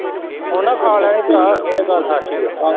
ਉਹਨਾਂ ਖਾ ਲੈਣੇ ਭਰਾ ਇਹ ਗੱਲ ਸੱਚ ਹੀ ਏ।